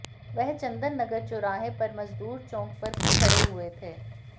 वह चंदन नगर चौराहे पर मजदूर चौक पर खड़े हुए थे